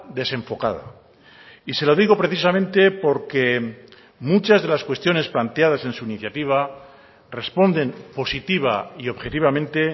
desenfocada y se lo digo precisamente porque muchas de las cuestiones planteadas en su iniciativa responden positiva y objetivamente